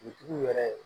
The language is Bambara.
Dugutigiw yɛrɛ